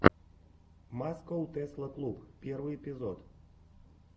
маскоу тесла клуб первый эпизод